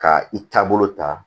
Ka i taabolo ta